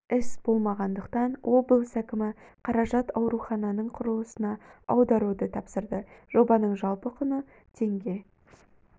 іс болмағандықтан облыс әкімі қаражат аурухананың құрылысына аударуды тапсырды жобаның жалпы құны теңге